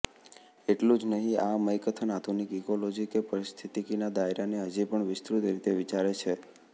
એટલું જ નહીં આ મયકથન આધુનિક ઈકોલોજી કે પારિસ્થિતિકીના દાયરાને હજીપણ વિસ્તૃત રીતે વિચારે છે